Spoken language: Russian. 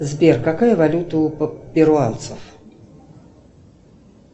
сбер какая валюта у перуанцев